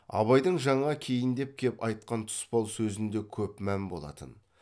абайдың жаңа кейіндеп кеп айтқан тұспал сөзінде көп мән болатын